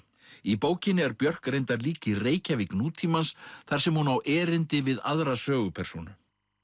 í bókinni er Björg reyndar líka í Reykjavík nútímans þar sem hún á erindi við aðra sögupersónu